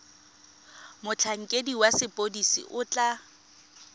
motlhankedi wa sepodisi o tla